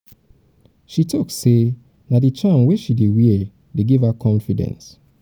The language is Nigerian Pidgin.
she tok sey na di charm wey she dey wear dey give her confidence.